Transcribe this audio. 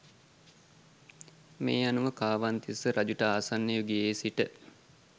මේ අනුව කාවන්තිස්ස රජුට ආසන්න යුගයේ සිට